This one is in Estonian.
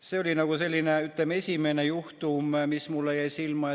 See oli selline, ütleme, esimene juhtum, mis jäi mulle silma.